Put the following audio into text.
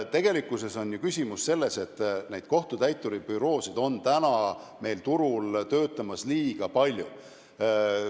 Küsimus on selles, et kohtutäituribüroosid on turul liiga palju.